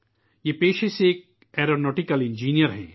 یہ پیشے سے ایک ایرو نوٹیکل انجینئر ہیں